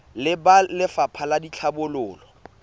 le ba lefapha la tlhabololo